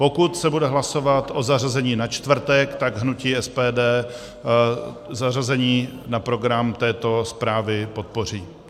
Pokud se bude hlasovat o zařazení na čtvrtek, tak hnutí SPD zařazení na program této zprávy podpoří.